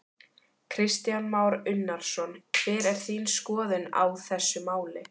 Kristján Már Unnarsson: Hver er þín skoðun á þessu máli?